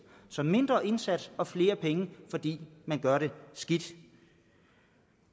så mindre indsats og flere penge fordi man gør det skidt